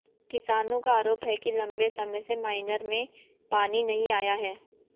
किसानों का आरोप है कि लंबे समय से माइनर में पानी नहीं आया है